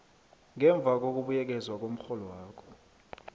ngemva kokubuyekezwa komrholwakho